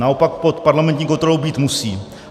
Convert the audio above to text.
Naopak pod parlamentní kontrolou být musí.